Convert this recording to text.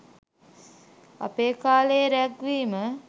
අපේ කාලේ රැග් වීම